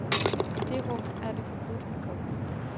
I det rum er det forbudt at komme.